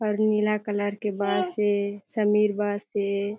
और नीला कलर के बास हे समीर बास हे।